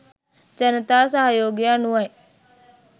ජනතා සහයෝගය අනුව යි.